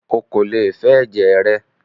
Ó kò lè fẹ ẹ̀jẹ̀ rẹ!